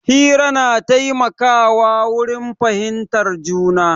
Hira na taimaka wa wurin fahimtar juna